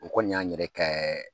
U kɔni y'an yɛrɛ kɛ